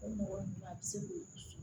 O mɔgɔ ninnu a bɛ se k'o